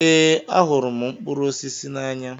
Ee, ahụrụ m mkpụrụ osisi n'anya